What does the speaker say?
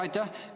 Aitäh!